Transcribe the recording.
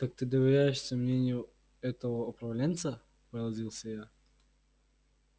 так ты доверяешься мнению этого управленца поразился я